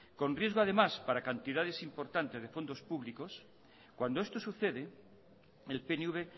con riesgo además para cantidades importantes de fondos públicos cuando esto sucede el pnv